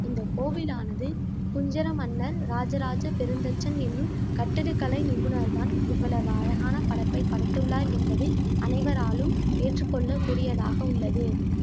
இந்த கோவிலானது புஞ்சரமன்னன் இராஜராஜ பெருந்தச்சன் என்னும் கட்டிடக்கலை நிபுணர் தான் இவ்வளவு அழகான படைப்பை படைத்துள்ளார் என்பது அனைவராலும் ஏற்றுக்கொள்ள கூடியதாக உள்ளது